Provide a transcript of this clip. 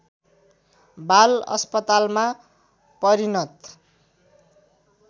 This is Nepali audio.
बाल अस्पतालमा परिणत